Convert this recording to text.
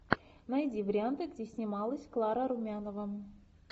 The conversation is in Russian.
найди варианты где снималась клара румянова